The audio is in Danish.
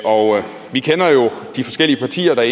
de forskellige partier der